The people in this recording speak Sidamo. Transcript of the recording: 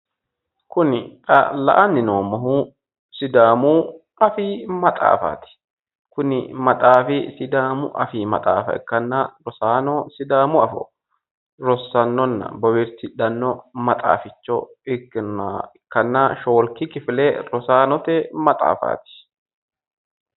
Kuni xa la"ani noommohu Sidaamu afii maxaaffati, sidaamu rosaano afoonsa bowirsidhanni rossaano shoolikki shalaagote maxaaffati